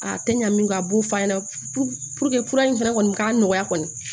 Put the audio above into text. A tɛ ɲa min kan a b'o f'a ɲɛna fura in fɛnɛ kɔni k'a nɔgɔya kɔni